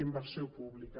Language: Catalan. inversió pública